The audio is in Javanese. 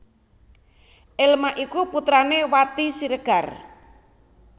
Elma iku putrané Wati Siregar